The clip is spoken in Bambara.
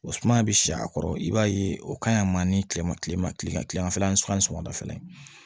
O suma bɛ si a kɔrɔ i b'a ye o ka ɲi a ma ni tilema tile ma tile tilema fɛ an bɛ suman sɔgɔmada fɛ